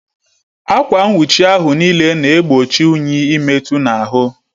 Akwa nwuchi ahụ n'ile na egbochi unyi ị metu n'ahụ